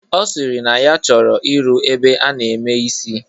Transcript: Ọ sịrị na ya chọrọ ịrụ ebe a na-eme isi